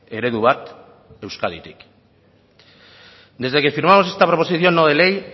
eredu bat euskaditik desde que firmamos esta proposición no de ley